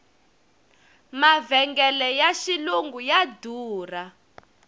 mavhengele ya xilungu ya durha